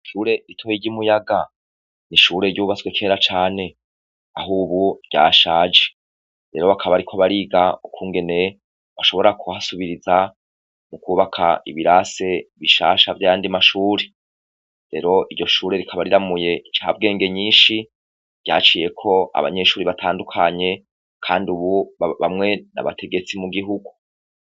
Ishure ritoya ry'imuyaga n'ishure ryubatswe kera cane ahubu ryashaje, rero bakaba bariko bariga ukungene bashobora kuhasubiriza mukwubaka ibirase bishasha vyayandi mashure, rero iryoshure rikaba riramuye incabwenge nyinshi ryaciyeko abanyeshure batandukanye Kandi ubu bamwe n'abategetsi mu gihugu.